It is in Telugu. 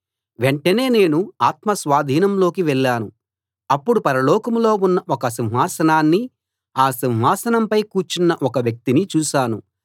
వెంటనే నేను ఆత్మ స్వాధీనంలోకి వెళ్ళాను అప్పుడు పరలోకంలో ఉన్న ఒక సింహాసనాన్నీ ఆ సింహాసనంపై కూర్చున్న ఒక వ్యక్తినీ చూశాను